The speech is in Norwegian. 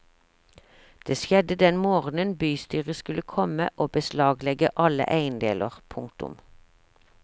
Det skjedde den morgenen bostyret skulle komme og beslaglegge alle eiendeler. punktum